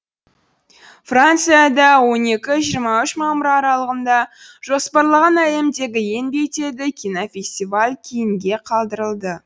францияда он екі жиырма үшінші мамыр аралығына жоспарланған әлемдегі ең беделді кинофестиваль кейінге қалдырылды